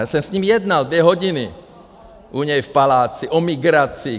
Já jsem s ním jednal dvě hodiny u něj v paláci o migraci.